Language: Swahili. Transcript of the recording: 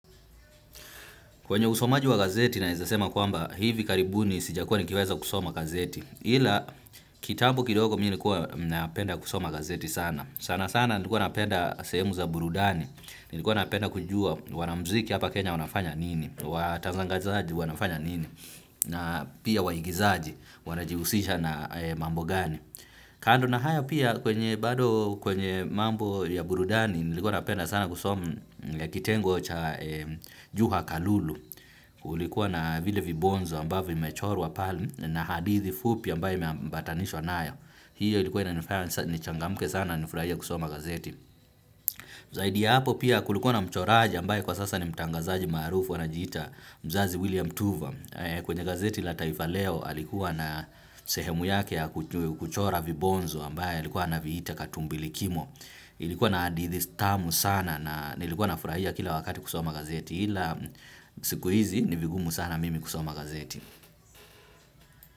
Kwenye usomaji wa gazeti naeza sema kwamba hivi karibuni sijakuwa nikiweza kusoma gazeti ila kitambo kidogo mimi nilikuwa napenda kusoma gazeti sana. Sana sana nilikuwa napenda sehemu za burudani. Nilikuwa napenda kujua wanamziki hapa Kenya wanafanya nini. Watanzangazaji wanafanya nini. Na pia waigizaji wanajiusisha na mambo gani. Kando na haya pia kwenye bado kwenye mambo ya burudani nilikuwa napenda sana kusoma kitengo cha jua kalulu. Kulikuwa na vile vibonzo ambavyo vimechorwa pale na hadithi fupi ambaye imeambatanishwa nayo. Hiyo ilikuwa inanifaya nichangamuke sana na nifurahia kusoma gazeti. Zaidi ya hapo pia kulikuwa na mchoraji ambaye kwa sasa ni mtangazaji maarufu anajiita mzazi William Tuva. Kwenye gazeti la taifa leo alikuwa na sehemu yake ya kuchora vibonzo ambaye alikuwa anaviita katumbili kimo. Ilikuwa na hadithi tamu sana na nilikuwa nafurahia kila wakati kusoma gazeti ila siku hizi, ni vigumu sana mimi kusoma gazeti.